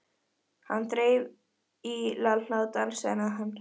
Hann þreif í Lalla og dansaði með hann.